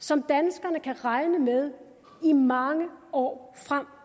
som danskerne kan regne med i mange år frem